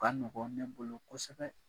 Ba nin bɔ ne bolo kosɛbɛ.